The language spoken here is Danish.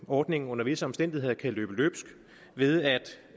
ordningen under visse omstændigheder kan løbe løbsk ved